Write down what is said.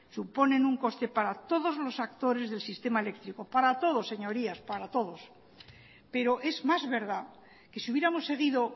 suponen un coste para todos los actores del sistema eléctrico para todos señorías para todos pero es más verdad que si hubiéramos seguido